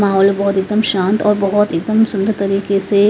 माहौल बहुत एकदम शांत और बहुत एकदम सुंदर तरीके से।